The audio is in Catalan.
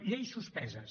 lleis suspeses